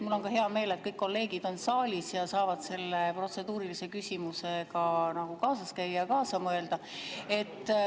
Mul on ka hea meel, et kõik kolleegid on saalis ja saavad selle protseduurilise küsimusega nagu kaasas käia ja kaasa mõelda.